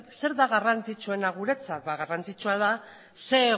zer da garrantzitsuena guretzat garrantzitsuena da zer